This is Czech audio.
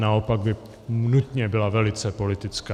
Naopak by nutně byla velice politická.